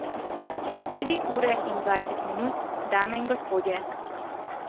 Tri ure in dvajset minut, dame in gospodje.